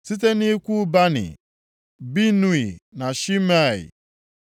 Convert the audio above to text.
Site nʼikwu Bani: Binui na Shimei,